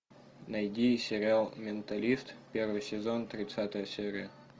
найди сериал менталист первый сезон тридцатая серия